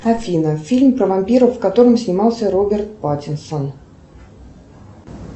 афина фильм про вампиров в котором снимался роберт паттинсон